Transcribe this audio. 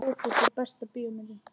Fótbolti Besta bíómyndin?